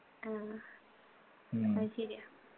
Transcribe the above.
ആ അത് ശരിയാ